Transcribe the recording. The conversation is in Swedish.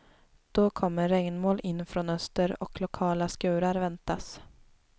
Då kommer regnmoln in från öster och lokala skurar väntas.